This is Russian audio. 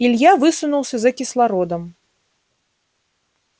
илья высунулся за кислородом